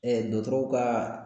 dɔgɔtɔrɔw ka